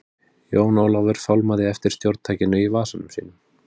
Jón Ólafur fálmaði eftir stjórntækinu í vasanum sínum.